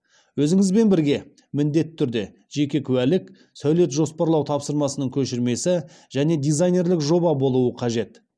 өзіңізбен бірге міндетті түрде жеке куәлік сәулет жоспарлау тапсырмасының көшірмесі және дизайнерлік жоба болуы қажет